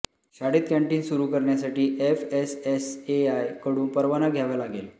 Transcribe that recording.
शाळेत कँटीन सुरू करण्यासाठी एफएसएसएआय कडून परवाना घ्यावा लागेल